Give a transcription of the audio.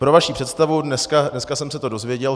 Pro vaši představu, dneska jsem se to dozvěděl.